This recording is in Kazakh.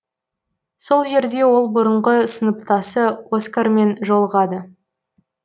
сол жерде ол бұрынғы сыныптасы оскармен жолығады